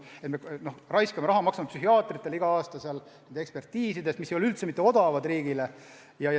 Me raiskame raha, maksame psühhiaatritele iga aasta nende ekspertiiside eest, mis ei ole riigile üldse mitte odavad.